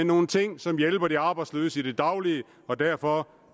nogle ting som hjælper de arbejdsløse i det daglige og derfor